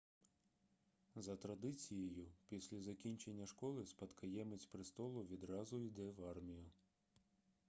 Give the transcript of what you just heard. за традицією після закінчення школи спадкоємець престолу відразу йде в армію